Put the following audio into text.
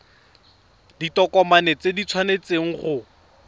ditokomane tsotlhe di tshwanetse go